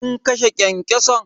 Kin kashe kyankyason?